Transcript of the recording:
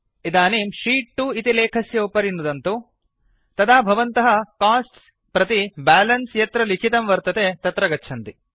इदनीं शीत् 2 इति लेखस्य उपरि नुदन्तु तदा भवन्तः कोस्ट्स् प्रति बैलेन्स यत्र लिखितं वर्तते तत्र गच्छन्ति